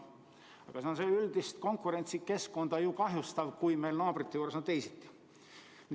Aga see on ju üldist konkurentsikeskkonda kahjustav, kui meie naabrite juures on teisiti.